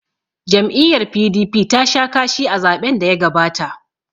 Jam'iyyar PDP tasha kashi a zaɓen daya gabata.